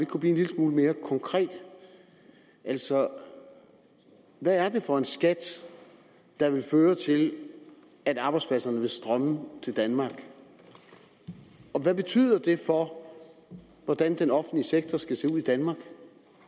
kunne blive en lille smule mere konkret altså hvad er det for en skat der vil føre til at arbejdspladserne vil strømme til danmark og hvad betyder det for hvordan den offentlige sektor skal se ud i danmark